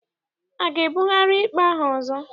A ga-ebugharị ikpe ahụ ọzọ?